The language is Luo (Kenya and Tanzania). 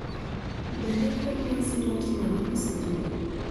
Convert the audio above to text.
Bende kor lwasi rach narobi sechegi